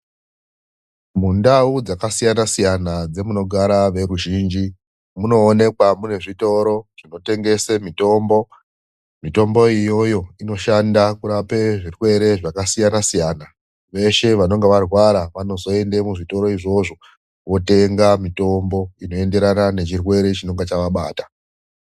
Mundau dzakasiyana-siyana dzemunogara veruzhinji, munoenekwa mune zvitoro zvinotengesa mitombo. Mitombo iyoyo inoshanda kurapa zvirwere yakasiyana-siyana. Veshe vanenge varwara vanozoenda muzvitoro izvozvo votenga mitombo inoenderana nechirwere chinenenge zvavabata.